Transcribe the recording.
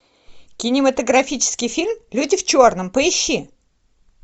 кинематографический фильм люди в черном поищи